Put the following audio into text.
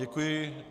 Děkuji.